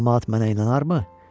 Camaat mənə inanarmı?